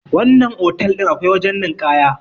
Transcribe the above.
wannan otal din akwai wajen ninkaya